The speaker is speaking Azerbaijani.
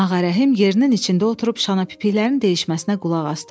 Ağarəhim yerinin içində oturub şanapipiklərin deyişməsinə qulaq asdı.